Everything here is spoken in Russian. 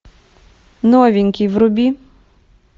новенький вруби